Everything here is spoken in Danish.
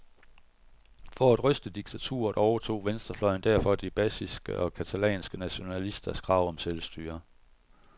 For at ryste diktaturet overtog venstrefløjen derfor de baskiske og catalanske nationalisters krav om selvstyre.